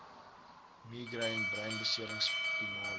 migraine breinbeserings spinale